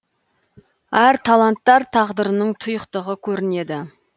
әр таланттар тағдырының тұйықтығы көрінеді